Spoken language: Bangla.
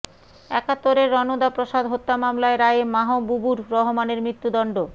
একাত্তরে রণদা প্রসাদ হত্যা মামলায় রায়ে মাহবুবুর রহমানের মৃত্যুদণ্ড